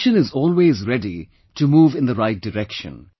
The nation is always ready to move in the right direction